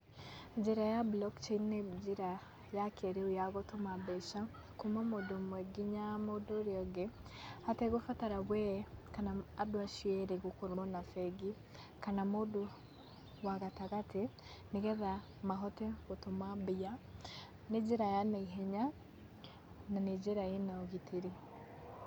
Njĩra ya BLOCK CHAIN nĩ njĩra ya kĩĩrĩu ya gũtũma mbeca kuma mũndũ ũmwe nginya mũndũ ũrĩa ũngĩ hategũbatara we kana andũ acio erĩ gũkorwo na bengi kana mũndũ wa gatagatĩ nĩ getha mahote gũtũma mbia. Nĩ njĩra ya naihenya na nĩ njĩra ĩna ũgitĩrĩ.